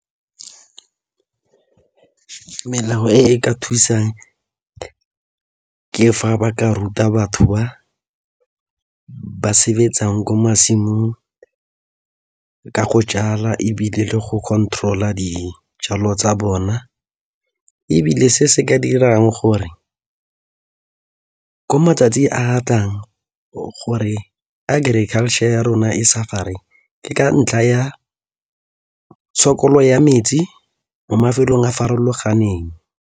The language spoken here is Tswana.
Melao e ka thusang ke fa ba ka ruta batho ba ba sebetsang kwa masimong ka go jala ebile le go control-a dijalo tsa bona ebile se se ka dirang gore ko matsatsi a tlang gore agriculture ya rona e suffer-re ke ka ntlha ya tshokolo ya metsi mo mafelong a farologaneng.